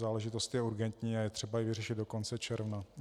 Záležitost je urgentní a je třeba ji vyřešit do konce června.